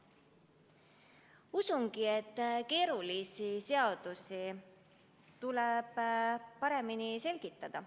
Usun, et keerulisi seadusi tulebki paremini selgitada.